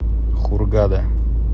хургада